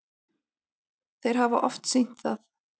Þeir hafa oft sýnt það.